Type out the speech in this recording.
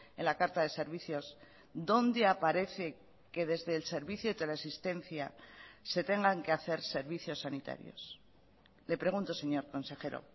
en la carta de servicios dónde aparece que desde el servicio de teleasistencia se tengan que hacer servicios sanitarios le pregunto señor consejero